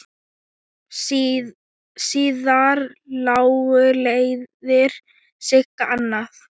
Síðar lágu leiðir Sigga annað.